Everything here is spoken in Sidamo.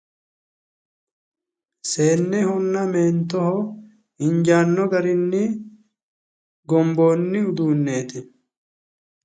Seennehonna meentoho injaanno garinni gomboonni uduunneeti.